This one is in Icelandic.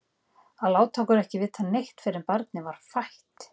Að láta okkur ekki vita neitt fyrr en barnið var fætt!